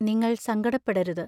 നിങ്ങൾ സങ്കടപ്പെടരുത്.